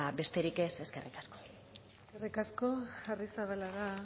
besterik ez eskerrik asko eskerrik asko arrizabalaga